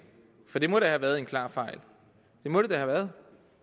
for det må da have været en klar fejl det må det da have været